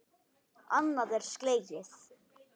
Annað er slegið.